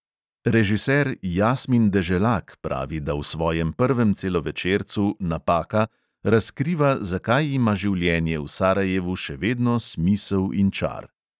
Režiser jasmin deželak pravi, da v svojem prvem celovečercu "napaka" razkriva, zakaj ima življenje v sarajevu še vedno smisel in čar.